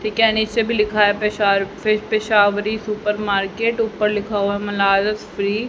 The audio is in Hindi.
ठीक है नीचे भी लिखा है पेशावरी सुपर मार्केट ऊपर लिखा हुआ है मनारस फ्री ।